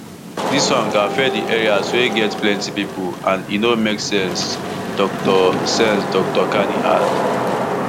dis one go affect di areas wey get plenty pipo and e no make sense dr sense dr kani add